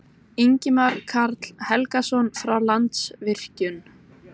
Ingimar Karl Helgason: Frá Landsvirkjun?